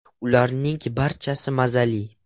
Ularning barchasi mazali.